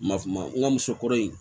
Ma ma n ka musokɔrɔba in